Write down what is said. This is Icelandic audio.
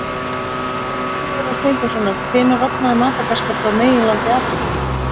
En í svari Sigurðar Steinþórssonar Hvenær rofnaði Madagaskar frá meginlandi Afríku?